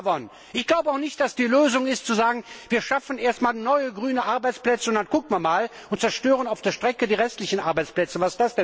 Die Lösung ist auch nicht, zu sagen Wir schaffen erst mal neue grüne Arbeitsplätze und dann schauen wir mal und zerstören auf der Strecke die restlichen Arbeitsplätze.